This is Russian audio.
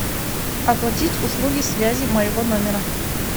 оплатить услуги связи моего номера